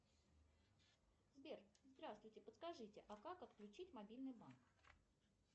сбер здравствуйте подскажите а как отключить мобильный банк